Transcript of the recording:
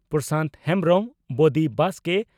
ᱯᱨᱚᱥᱟᱱᱛ ᱦᱮᱢᱵᱽᱨᱚᱢ ᱵᱚᱫᱤ ᱵᱟᱥᱠᱮ